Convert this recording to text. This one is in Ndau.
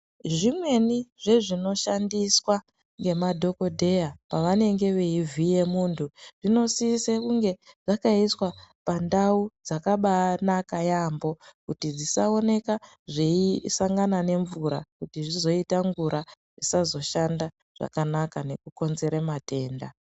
Zvimweni zvezvinoshandiswa ngemadhokodheya pavanenge veivhiye muntu zvinosise kunge zvakasiwa pandau dzakabanaka yaamho kuti dzisaoneka zveisangana nemvura kuti zvizoita ngura zvisazoshanda zvakanaka nekukonzera matenda.